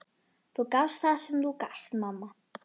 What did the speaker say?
Þú gafst það sem þú gast, mamma.